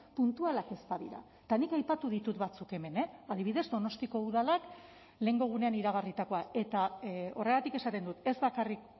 puntualak ez badira eta nik aipatu ditut batzuk hemen adibidez donostiako udalak lehengo egunean iragarritakoa eta horregatik esaten dut ez bakarrik